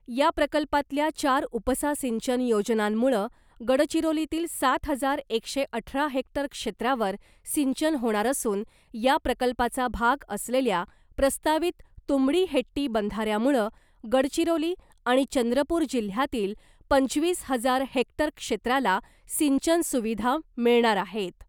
या प्रकल्पातल्या चार उपसा सिंचन योजनांमुळं गडचिरोलीतील सात हजार एकशे अठरा हेक्टर क्षेत्रावर सिंचन होणार असून , या प्रकल्पाचा भाग असलेल्या प्रस्तावित तुमडीहेट्टी बंधाऱ्यामुळं गडचिरोली आणि चंद्रपूर जिल्ह्यातील पंचवीस हजार हेक्टर क्षेत्राला सिंचन सुविधा मिळणार आहेत .